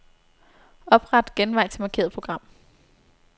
Opret genvej til markerede program.